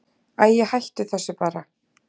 Æi, hættu þessu bara.